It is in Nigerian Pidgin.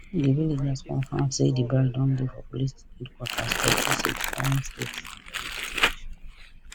di villagers confirm say di bride don dey for police headquarters for dutse jigawa state for investigation